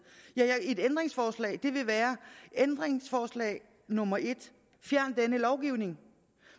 ja et ændringsforslag ville være ændringsforslag nummer 1 fjern denne lovgivning